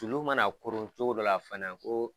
Sulu mana koron cogo dɔ la fana ko